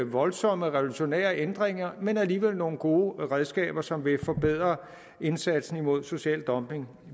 voldsomme revolutionære ændringer men alligevel nogle gode redskaber som vil forbedre indsatsen mod social dumping